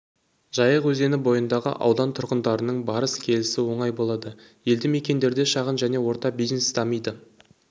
жайық өзені бойындағы аудан тұрғындарының барыс-келісі оңай болады елді мекендерде шағын және орта бизнес дамиды